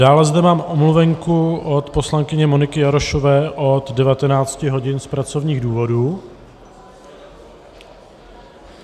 Dále zde mám omluvenku od poslankyně Moniky Jarošové od 19 hodin z pracovních důvodů.